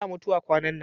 ana mutuwa kwanan nan